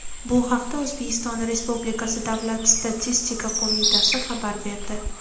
Bu haqda O‘zbekiston Respublikasi Davlat statistika qo‘mitasi xabar berdi .